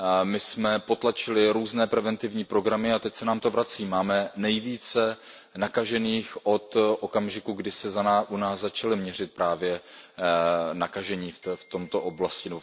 My jsme potlačili různé preventivní programy a teď se nám to vrací, máme nejvíce nakažených od okamžiku, kdy se u nás začali měřit právě nakažení v této oblasti.